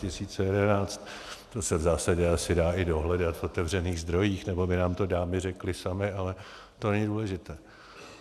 To se v zásadě asi dá i dohledat v otevřených zdrojích, nebo by nám to dámy řekly samy, ale to není důležité.